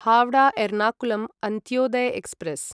Howrah Ernakulam Antyodaya express